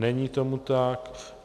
Není tomu tak.